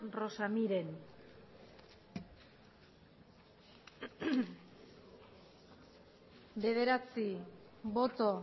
rosa miren bederatzi boto